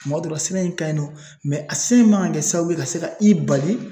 Tuma dɔ la, sɛbɛn in ka ɲi nɔ a sɛbɛn man kan ka kɛ sababu ye ka se ka i bali